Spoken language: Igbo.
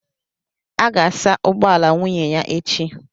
a ga-asa ụgbọ ala nwunye ya echi